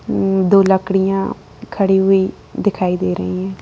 उम्म दो लकड़ियाँ खड़ी हुई दिखाई दे रही है।